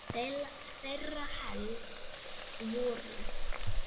Þeirra helst voru